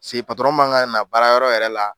paseke patɔrɔn man ka na baara yɔrɔ yɛrɛ la